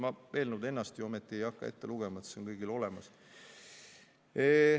Ma eelnõu ennast ju ometi ei hakka ette lugema, see on kõigil olemas.